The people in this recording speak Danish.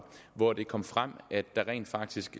hvor det kom frem at der rent faktisk